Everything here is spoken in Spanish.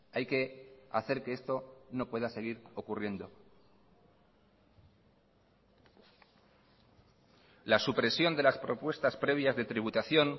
hay que hacer que esto no pueda seguir ocurriendo la supresión de las propuestas previas de tributación